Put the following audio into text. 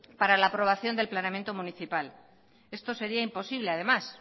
para la aprobación del planeamiento municipal esto sería imposible además